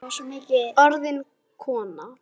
Orðin kona.